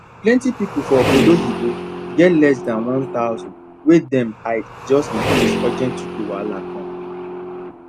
plenty people for ogbodo oyibo get less than one thousand way dem hide just in case urgent 2k wahala come